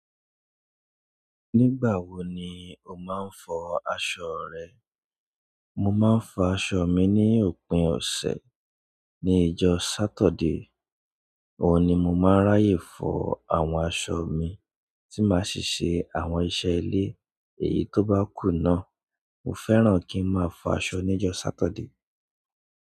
Nígbà wo ni o máa ń fọ aṣọ rẹ? Mo máa ń fọ aṣọ mi ní òpin ọ̀sẹ̀, ní ọjọ́ Sátọ̀dé. Òun ni mo máa ń ráyè fọ àwọn aṣọ mi tí máa ṣí ṣe àwọn iṣẹ́ ilé. Èyí tó bá kù náà, mo fẹ́ràn kí ń máa fọ aṣọ ní ọjọ́ Sátọ̀dé.